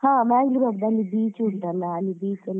ಹಾ Mangalore ಆಗ್ಬಹುದು ಅಲ್ಲಿ beach ಉಂಟಲ್ಲ ಅಲ್ಲಿ beach ಎಲ್ಲ.